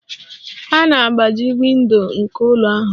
A na-agbaji windo nke ụlọ ahụ.